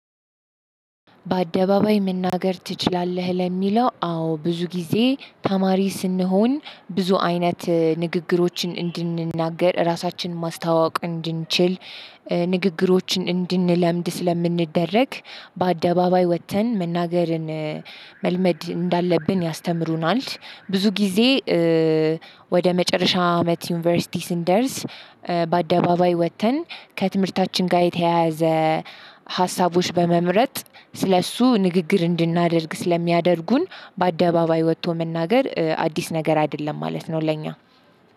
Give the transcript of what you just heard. በአደባባይ መናገር ትችላለህ? ለሚለው አዎ ብዙ ጊዜ ተማሪ ስንሆን ብዙ አይነት ንግግሮችን እንድንናገር ራሳችንን ማስተዋወቅ እንድንችል ንግግሮችን እንድንለምድ ስለምንደረግ በአደባባይ ወጥተን መናገርን መልመድ እንዳለብን ያስተምሩናል። ብዙ ጊዜ። ወደ መጨረሻ አመት ዩኒቨርሲቲ ስንደርስ በአደባባይ ወጥተን ከትምህርታችን ጋር የተያያዘ ሀሳቦች በመምረጥ ስለእሱ ንግግር እንድናደርግ ስለሚያደርጉን። በአደባባይ ወጥቶ መናገር አዲስ ነገር አይደለም ማለት ነው። ለኛ